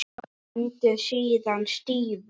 Stendur síðan stífur.